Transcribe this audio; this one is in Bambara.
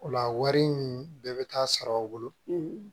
O la wari in bɛɛ bɛ taa sara aw bolo